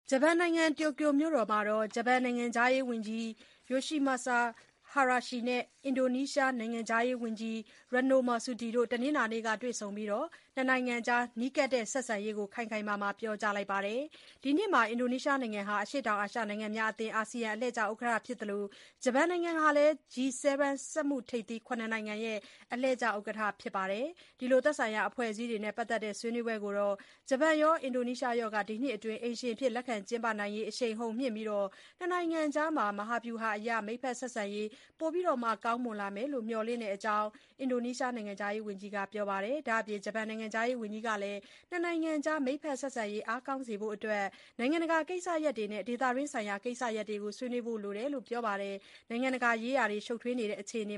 ဂျပန်နိုင်ငံ တိုကျိုမြို့တော်မှာ ဂျပန်နိုင်ငံခြားရေးဝန်ကြီး Yoshimasa Hayashi နဲ့ အင်ဒိုနီးရှား နိုင်ငံခြားရေးဝန်ကြီး Retno Marsudi တို့ တနင်္လာနေ့က တွေ့ဆုံပြီး ၂ နိုင်ငံအကြား နီးကပ်တဲ့ ဆက်ဆံရေးရှိကြောင်း အတည်ပြုပြောကြားသွားပါတယ်။ ဒီနှစ်မှာ အရှေ့တောင်အာရှ နိုင်ငံများအသင်း ASEAN အလှည့်ကျ ဥက္ကဋ္ဌဖြစ်တဲ့ အင်ဒိုနီးရှားနိုင်ငံနဲ့ စက်မှုထိပ်သီး ၇ နိုင်ငံရဲ့ အလှည့်ကျ ဥက္ကဋ္ဌ ဂျပန်နိုင်ငံဟာ သက်ဆိုင်ရာ အဖွဲ့အစည်းတွေနဲ့ ပတ်သက်တဲ့ ဆွေးနွေးပွဲတွေကို အိမ်ရှင်အဖြစ် ကျင်းပပေးမှုကနေ ၂နိုင်ငံအကြားမှာ မဟာဗျူဟာအရ မိတ်ဖက်ဆက်ဆံရေး ပိုမိုအားကောင်းလာမယ်လို့ မျှော်လင့်တဲ့အကြောင်း Marsudi က ပြောပါတယ်။ ဒါ့အပြင် ဂျပန်နိုင်ငံခြားရေးဝန်ကြီး Hayashi ကလည်း ၂ နိုင်ငံအကြား မိတ်ဘက်ဆက်ဆံရေး အားကောင်းစေဖို့ အတွက် နိုင်ငံတကာကိစ္စရပ်တွေနဲ့ ဒေသတွင်းဆိုင်ရာ ကိစ္စရပ်တွေကိုလည်း ဆွေးနွေးလိုပါတယ်လို့ ပြောပါတယ်။ နိုင်ငံတကာရေးရာတွေ ရှုပ်ထွေးနေတဲ့ အခြေအန